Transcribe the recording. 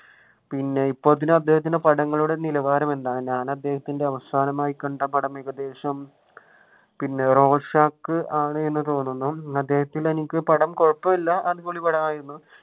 പിന്നെ ഇപ്പോൾ അദ്ദേഹത്തിന്റെ പടങ്ങളുടെ നിലവാരം എന്താണ് ഞാൻ അദ്ദേഹത്തിന്റെ അവസാനമായി കണ്ട പടം ഏകദേശം പിന്നെ റോഷാക്ക് ആണെന്ന് തോന്നുന്നു അദ്ദേഹത്തിന്റെ പടം എനിക്ക് കൊഴപ്പമില്ല